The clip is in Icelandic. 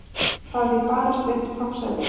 Það er því barist upp toppsætið.